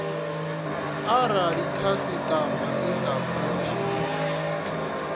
arali khasitama i sa fushi